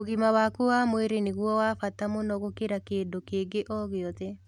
Ũgima waku wa mwĩrĩ nĩguo wa bata mũno gũkĩra kĩndũ kĩngĩ o gĩothe.